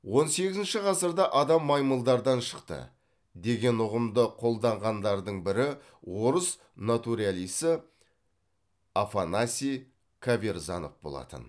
он сегізінші ғасырда адам маймылдардан шықты деген ұғымды қолдағандардың бірі орыс натуралисі афанасий каверзанов болатын